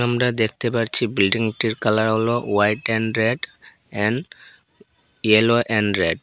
আমরা দেখতে পাচ্ছি বিল্ডিংটির কালার হল white and red and yellow and red.